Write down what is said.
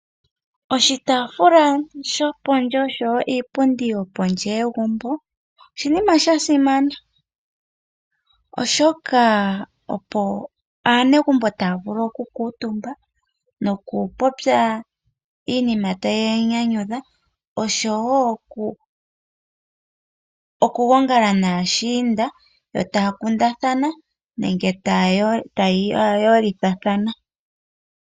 Oshitafula shopondje oshowo iipundi yopondje yegumbo oshinima sha simana oshoka opo aanegumbo taya vulu oku kuutumba noku popya iinima tayi ya nyanyudha oshowo oku gongala naashiinda etaa kundathana nenge taya yolithathana